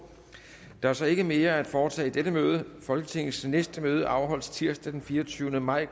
der er så ikke mere at foretage i dette møde folketingets næste møde afholdes tirsdag den fireogtyvende maj